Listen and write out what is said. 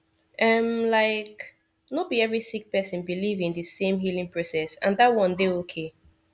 um like no bi every sik person biliv in di sem healing process and dat one dey okay